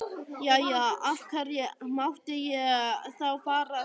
Jæja, af hverju mátti ég þá fara þangað í sumar?